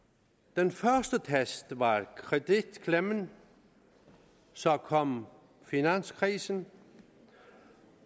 den første test var kreditklemmen så kom finanskrisen